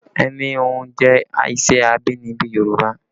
Ẹni híhun jẹ́ iṣẹ́ abínibí Yorùbá